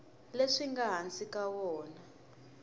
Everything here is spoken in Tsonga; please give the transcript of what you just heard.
leswi nga hansi ka wona